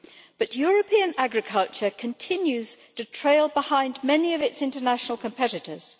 but European agriculture continues to trail behind many of its international competitors.